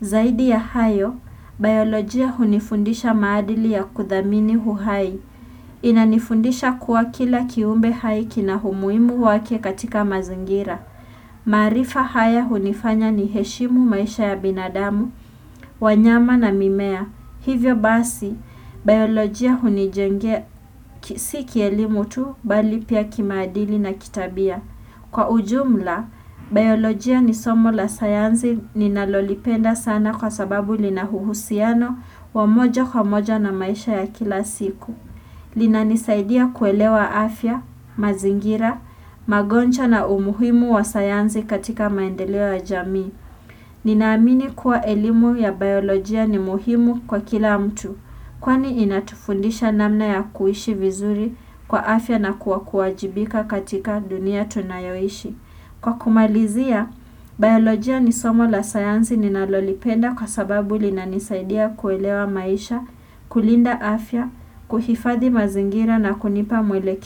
Zaidi ya hayo, biolojia hunifundisha maadili ya kuthamini uhai. Inanifundisha kuwa kila kiumbe hai kina umuhimu wake katika mazingira. Maarifa haya hunifanya niheshimu maisha ya binadamu, wanyama na mimea. Hivyo basi, biolojia hunijengea si kielimu tu bali pia kimaadili na kitabia. Kwa ujumla, biolojia ni somo la sayansi ninalolipenda sana kwa sababu lina uhusiano wa moja kwa moja na maisha ya kila siku. Linanisaidia kuelewa afya, mazingira, magonjwa na umuhimu wa sayansi katika maendeleo ya jamii. Ninaamini kuwa elimu ya biolojia ni muhimu kwa kila mtu. Kwani inatufundisha namna ya kuishi vizuri kwa afya na kuwa kuajibika katika dunia tunayoishi. Kwa kumalizia, biolojia ni somo la sayansi ninalolipenda kwa sababu linanisaidia kuelewa maisha, kulinda afya, kuhifadhi mazingira na kunipa mweleke.